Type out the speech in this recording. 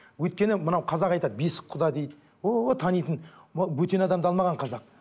өйткені мынау қазақ айтады бесік құда дейді ооо танитын ы бөтен адамды алмаған қазақ